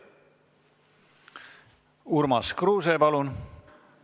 Urmas Kruuse, palun!